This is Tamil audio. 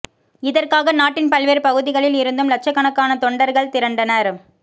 இதற்காக நாட்டின் பல்வேறு பகுதிகளில் இருந்தும் லட்சக்கணக்கான தொண்டர்கள் திரண்டனர்